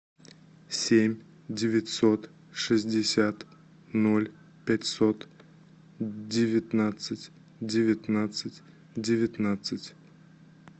семь девятьсот шестьдесят ноль пятьсот девятнадцать девятнадцать девятнадцать